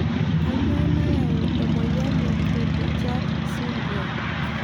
Kanyio nayau emoyian e cru du chat syndrome?